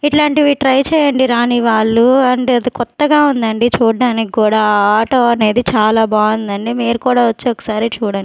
ఇట్లాంటివి ట్రై చేయండి రాని వాళ్ళు అండ్ అది కొత్తగా ఉందండి చూడ్డనికి కూడా ఆటో అనేది చాలా బాగుందండి మీరు కూడా వచ్చి ఒకసారి చూడండి.